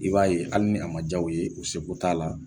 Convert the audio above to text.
I b'a ye hali ni a ma ja o ye, u seko t'a la